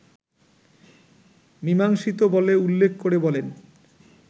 মিমাংসিত বলে উল্লেখ করে বলেন